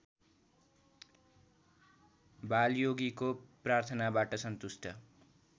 बालयोगीको प्रार्थनाबाट सन्तुष्ट